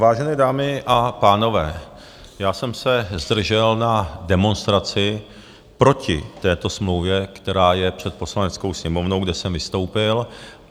Vážené dámy a pánové, já jsem se zdržel na demonstraci proti této smlouvě, která je před Poslaneckou sněmovnou, kde jsem vystoupil.